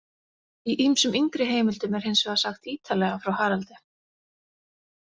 Í ýmsum yngri heimildum er hins vegar sagt ítarlega frá Haraldi.